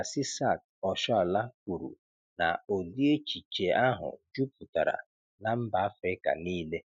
Asisat Oshoala kwúrù na ụ̀dị́ échìchè áhụ̀ juputara na mba Afrịka niile